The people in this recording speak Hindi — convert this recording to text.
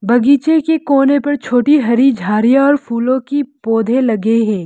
बगीचे के कोने पर छोटी हरी झाड़ियां और फूलों की पौधे लगे हैं।